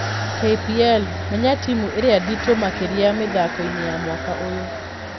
KPL: Menya timu ĩria nditu makĩria mĩthakoini ya mwaka ũyũ